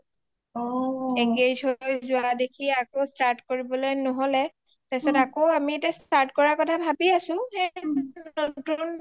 engage হৈ যোৱা দেখি আকৌ start কৰিবলৈ নহলে start কৰা কথা ভাবি আছোঁ নতুন